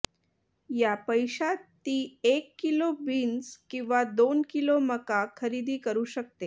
या पैशात ती एक किलो बीन्स किंवा दोन किलो मका खरेदी करू शकते